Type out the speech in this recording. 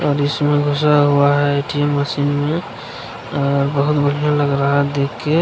और इसमें घुसा हुआ है ए.टी.एम. मशीन में और बहुत बढ़िया लग रहा है देख के |